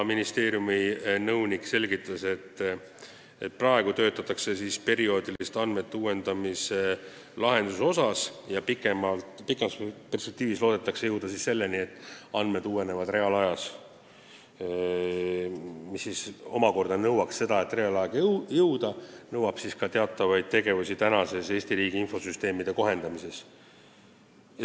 Ministeeriumi nõunik selgitas, et praegu töötatakse andmete perioodilise uuendamise lahenduse kallal ja pikemas perspektiivis loodetakse jõuda selleni, et andmed uuenevad reaalajas, mis omakorda – see, et reaalaega jõuda – nõuab teatavaid tegevusi Eesti riigi infosüsteemide kohendamisel.